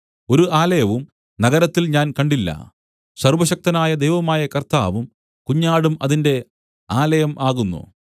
ഒരു ആലയവും നഗരത്തിൽ ഞാൻ കണ്ടില്ല സർവ്വശക്തനായ ദൈവമായ കർത്താവും കുഞ്ഞാടും അതിന്റെ ആലയം ആകുന്നു